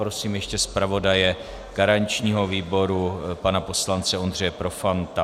Prosím ještě zpravodaje garančního výboru pana poslance Ondřeje Profanta.